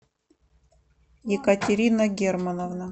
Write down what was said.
екатерина германовна